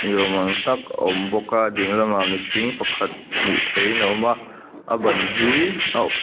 ni awm ang tak a awm bawk a ding lamah mihring pakhat hmuh theihin a awm a a ban hi a uk--